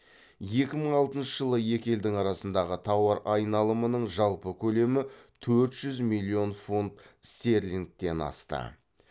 екі мың алтыншы жылы екі елдің арасындағы тауар айналымының жалпы көлемі төрт жүз милллион фунт стерлингтен асты